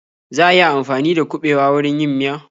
Za a iya amfani dakuɓewa wurin yin miya?